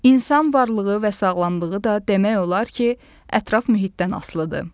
İnsan varlığı və sağlamlığı da demək olar ki, ətraf mühitdən asılıdır.